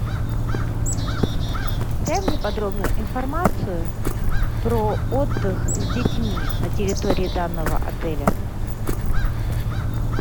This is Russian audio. дай мне подробную информацию про отдых с детьми на территории данного отеля